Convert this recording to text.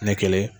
Ne kelen